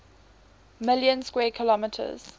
million square kilometers